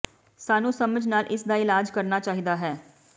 ਸਾਨੂੰ ਸਮਝ ਨਾਲ ਇਸ ਦਾ ਇਲਾਜ ਕਰਨਾ ਚਾਹੀਦਾ ਹੈ